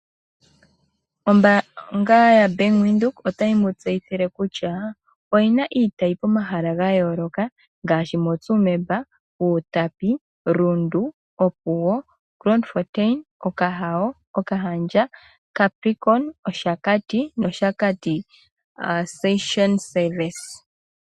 Ombanga yaBank Windhoek otayi mu tseyithile kutya oyi na iitayi pomahala ga yooloka ngaashi moTsumeb, Outapi, Rundu, Opuwo, Grootfontein, Okahawo, Okahandja, Capricorn, Oshakati North no Oshakati Santorini Service.